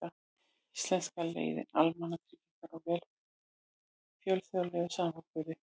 Íslenska leiðin: Almannatryggingar og velferð í fjölþjóðlegum samanburði.